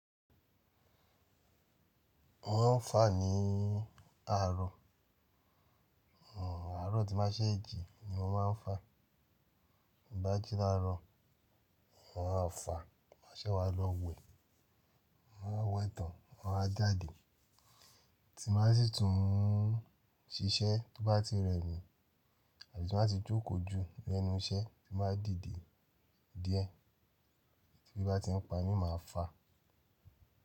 Mo máa ń fà ní àárọ̀, àárọ̀ tí mo bá ṣé jí ni mo máa ń fà, bí mo bá jí láàárọ̀, mo máa fà má ṣé wa lọ wẹ̀, mo máa wẹ tán, mo máa jáde, tí mo bá si tún ṣiṣẹ́ tó bá ti rẹ mi àbí tí mo bá ti jókòó l'ẹ́nu iṣẹ́ tí mo bá dìde díẹ̀ tí ebi bá ti ń pa mi máa fà.